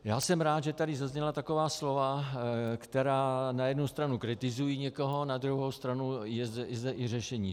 Já jsem rád, že tady zazněla taková slova, která na jednu stranu kritizují někoho, na druhou stranu je zde i řešení.